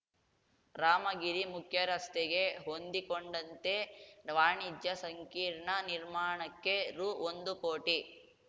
ರಾಮಗಿರಿ ಮುಖ್ಯರಸ್ತೆಗೆ ಹೊಂದಿಕೊಂಡಂತೆ ವಾಣಿಜ್ಯ ಸಂಕೀರ್ಣ ನಿರ್ಮಾಣಕ್ಕೆ ರುಒಂದುಕೋಟಿ